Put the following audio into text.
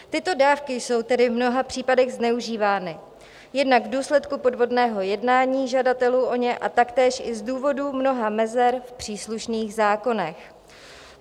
Tyto dávky jsou tedy v mnoha případech zneužívány jednak v důsledku podvodného jednání žadatelů o ně a taktéž i z důvodu mnoha mezer v příslušných zákonech.